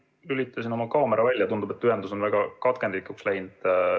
Ma lülitasin oma kaamera välja, tundub, et ühendus on väga katkendlikuks läinud.